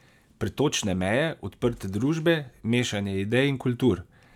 Pretočne meje, odprte družbe, mešanje idej in kultur?